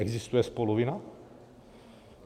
Existuje spoluvina?